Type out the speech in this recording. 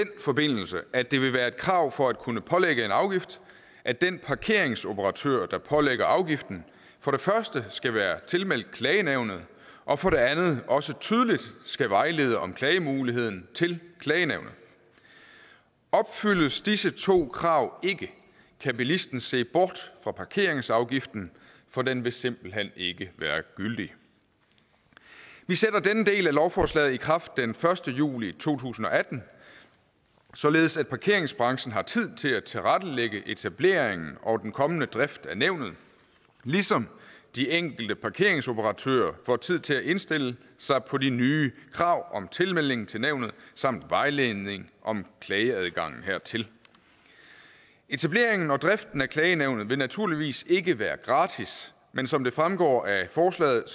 forbindelse at det vil være et krav for at kunne pålægge en afgift at den parkeringsoperatør der pålægger afgiften for det første skal være tilmeldt klagenævnet og for det andet også tydeligt skal vejlede om klagemuligheden til klagenævnet opfyldes disse to krav ikke kan bilisten se bort fra parkeringsafgiften for den vil simpelt hen ikke være gyldig vi sætter denne del af lovforslaget i kraft den første juli to tusind og atten således at parkeringsbranchen har tid til at tilrettelægge etableringen og den kommende drift af nævnet ligesom de enkelte parkeringsoperatører får tid til at indstille sig på de nye krav om tilmelding til nævnet samt vejledning om klageadgangen hertil etableringen og driften af klagenævnet vil naturligvis ikke være gratis men som det fremgår af forslaget